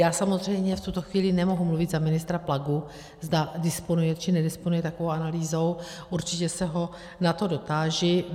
Já samozřejmě v tuto chvíli nemohu mluvit za ministra Plagu, zda disponuje, či nedisponuje takovou analýzou, určitě se ho na to dotáži.